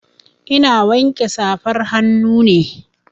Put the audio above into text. Ina wanke safar hannu ne.